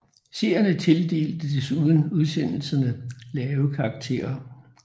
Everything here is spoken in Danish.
Seerne tildelte desuden udsendelserne lave karakterer